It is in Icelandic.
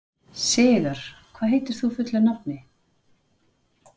Sigarr, hvað heitir þú fullu nafni?